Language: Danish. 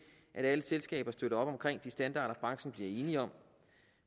at alle selskaber støtter op omkring de standarder branchen bliver enig om